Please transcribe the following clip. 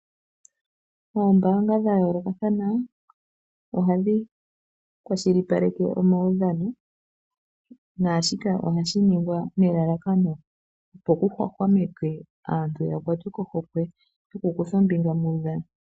Moombaanga dha yoolokathana ohadhi kwashilipaleke omaudhano naashika ohashi ningwa nelalakano opo ku hwahwamekwe aantu mboka ya kwatwe kohokwe yokukutha ombinga muudhano.